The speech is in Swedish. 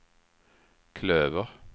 klöver